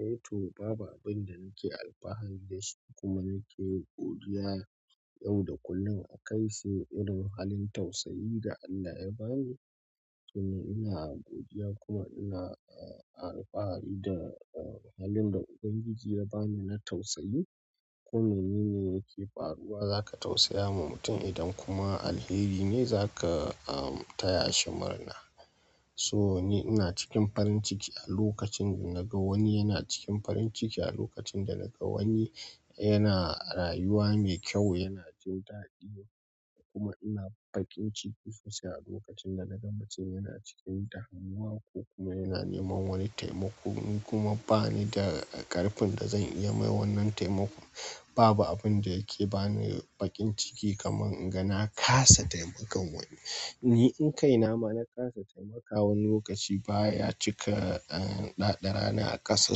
Eh to, babu abin da nake alfahari da shi kuma nake godiya yau da kullum akai sai irin halin tausayi da Allah ya bani. Tobina godiya kuma ina alfahari da halin da ubangiji ya bani na tausayi ko me ni ne yake faruwa, za ka tausaya ma mutum idan kuma alheri ne za ka, uh, taya shi murna. So ni ina cikin farin ciki a lokacin da na ga wani yana cikin farin ciki, a lokacin da na ga wani yana rayuwa mai kyau, yana jin daɗi kuma ina bakin ciki sosai a lokacin da na ga mutun yana cikin damuwa. Kokuma yana neman wani taimako, ni kuma ba ni da ƙarfin da zan iya yi wa wannan taimakon. Babu abin da yake ba ni bakin ciki kamar in ga na kasa taimakon wani. Ni in kai na ma na kasa taimakawa wani lokaci baya cika, ƙaddara a ƙasa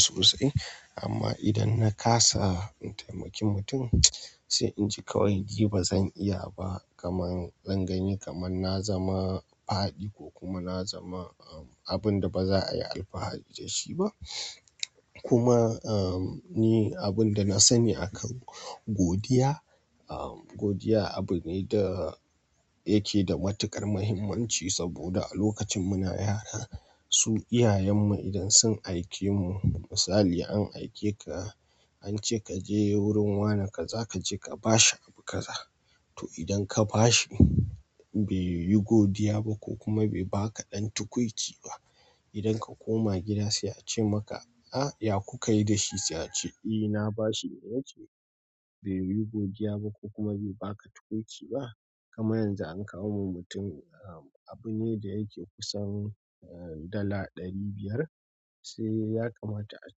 sosai. Amma idan na kasa taimakin mutum, sai in ji ƙawai ji ba zan iya ba kamar zan gani kamar na zama faɗi ko kuma na zama, uh, abun da ba za a yi alfahari da shi ba. Kuma, uh, ni abin da na sani akan godiya, uh, godiya abu ne da yake da matuƙar muhimmanci saboda a lokacin muna yara su iyayenmu idan sun aike mu, misali an aike ka, an ce ka je wurin wane kaza ka je ka ba shi abu ka za. To idan ka ba shi bai yi godiya ba ko kuma bai ba ka ɗan tukwici ba, idan ka koma gida sai a ce maka, "Ah, ya ku kai da shi?" Sai a ce, "E, na ba shi." baiyi godiya ba, ko kuma bai baka tukwici ba? Ƙaddara a ƙasa sosai. Amma idan na kasa in taimaki mutum, sai in ji ƙawai ji ba zan iya ba kamar zan gani kamar na zama faɗi ko kuma na zama, uh, abun da ba za a yi alfahari da shi ba. Sai ya kamata a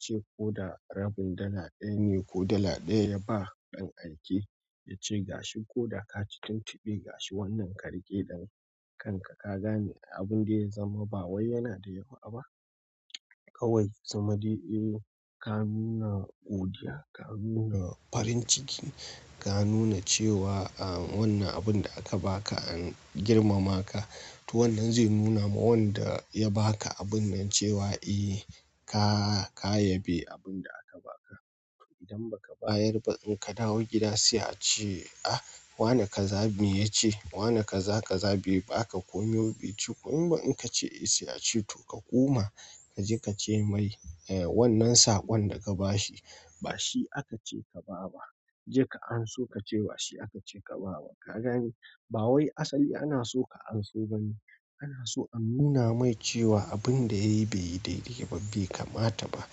ce ko da rabin dala ɗaya ne ko dala ɗaya ya ba ɗan aike ya ce gashi ko da ka ci tuntuɓe gashi wannan karke dan kanka ka gane abin da ya zama ba wai yana da yawa ba. Kawai zama dai, eh, ka nuna godiya, ka nuna farin ciki, ka nuna cewa, uh, wannan abun da aka ba ka an girmama ka. To wannan zai nuna ma wanda ya ba ka abun nan cewa eh ka, ka yabe abun da aka ba ka. Idan ba ka bayar ba in ka dawo gida sai a ce, "Ah, wane kaza me ya ce wane kaza kaza aui, bai baka komai ba." Ya ce kuma in ba in ka ce eh sai a ce to ka koma ka je ka ce mai, eh, wannan saƙon daka ba shi. Ba shi aka ce ka ba ba. Je ka anso ka ce ba shi aka ce ka ba wa. Ka gane ba wai asali ana so ka anso bane. Ana so a nuna mai cewa abin da yayi bai yi daidai ba, bai kamata ba.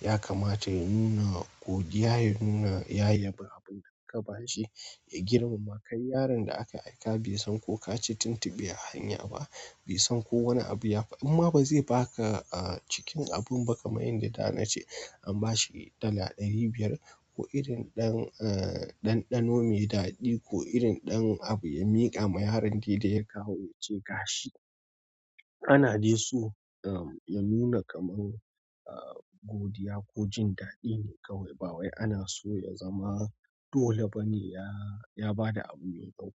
Ya kamata ya nuna godiya, ya nuna ya yabe abun da aka ba shi, ya girmama. Kai yaron da aka aika baisan ko kaci tuntuɓe a hanyaba, in ma bazai baka a cikin abin da an ba shi dala ɗari biyar ko irin ɗan, uh, ɗanɗano mai daɗi ko irin ɗan abu ya miƙa ma yaron dai da ya kawo ya ce gashi. Ana dai so, uh, ya nuna kamar, uh, godiya ko jin daɗi ne kawai. Ba wai ana so ya zama dole bane ya, ya ba da abun ne ko.